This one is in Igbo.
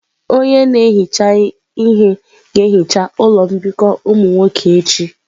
Onye na-ehicha ihe ga-ehicha ụlọ mbikọ ụmụ nwoke echi.